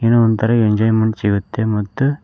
ಏನೊ ಒಂತರ ಎಂಜಾಯ್ಮೆಂಟ್ ಸಿಗುತ್ತೆ ಮತ್ತು--